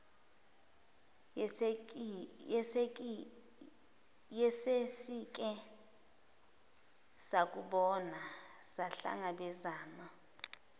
yesesike sakubona sahlangabezana